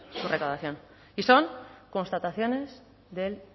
su recaudación y son constataciones del